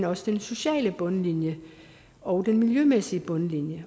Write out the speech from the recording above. også den sociale bundlinje og den miljømæssige bundlinje